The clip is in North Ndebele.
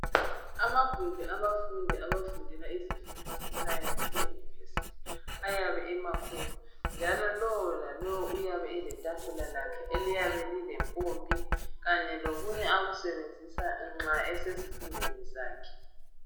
Amagumbi abafundi abafundela izifundo zesayensi eyunivesithi, ayabe emakhula .Njalo lowo lalowo uyabe elethafula lakhe eliyabe lilempompi .Kanye lokunye akusebenzisa nxa esesifundweni zakhe.